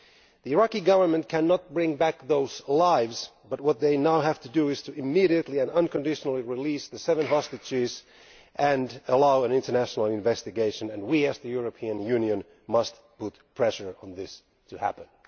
The Iraqi government cannot bring back those lives, but what it now has to do is to immediately and unconditionally release the seven hostages and allow an international investigation, and we as the European Union must bring pressure to bear in order for this to happen.